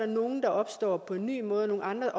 nogle opstår på en ny måde og nogle andre